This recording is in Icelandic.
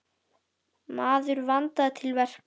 Maður vandaði til verka.